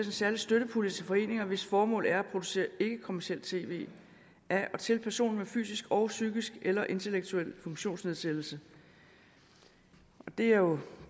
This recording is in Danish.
særlig støttepulje til foreninger hvis formål er at producere ikkekommercielt tv af og til personer med fysisk og psykisk eller intellektuel funktionsnedsættelse det er jo